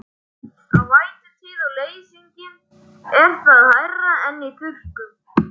Í vætutíð og leysingum er það hærra en í þurrkum.